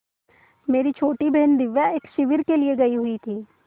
मेरी छोटी बहन दिव्या एक शिविर के लिए गयी हुई थी